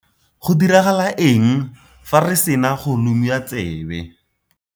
Go diragala eng fa re sena go lomiwa tsebe?